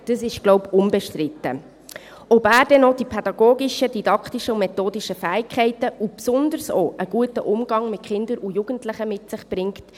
Entscheidend ist aber ebenfalls, ob er auch die pädagogischen, didaktischen und methodischen Fähigkeiten und besonders auch einen guten Umgang mit Kindern und Jugendlichen mit sich bringt.